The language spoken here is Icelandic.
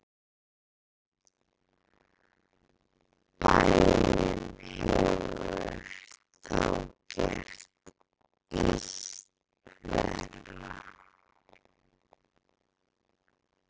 Bænin hefur þá gert illt verra.